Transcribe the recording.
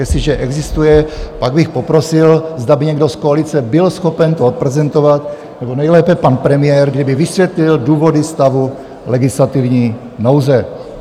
Jestliže existuje, pak bych poprosil, zda by někdo z koalice byl schopen to odprezentovat, nebo nejlépe pan premiér, kdyby vysvětlil důvody stavu legislativní nouze.